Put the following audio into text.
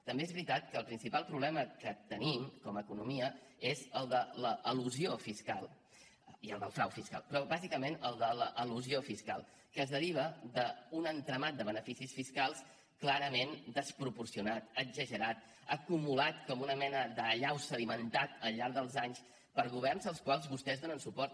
també és veritat que el principal problema que tenim com a economia és el de l’elusió fiscal i el del frau fiscal però bàsicament el de l’elusió fiscal que es deriva d’un entramat de beneficis fiscals clarament desproporcionat exagerat acumulat com una mena d’allau sedimentada al llarg dels anys per governs als quals vostès donen suport